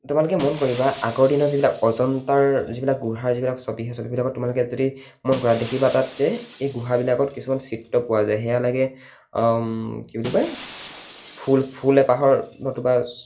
তোমালোকে মন কৰিবা, আগৰ দিনত যিবিলাক অজন্তাৰ যিবিলাক গুহা, যিবিলাক ছবি, সেইবিলাকত তোমালোকে যদি মন কৰা দেখিবা তাত যে এই গুহা বিলাকত কিছুমান চিত্ৰ পোৱা যায়। সেয়া লাগে কি বুলি কয় ফুল ফুল এপাহৰ নতুবা